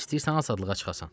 İstəyirsən azadlığa çıxasan?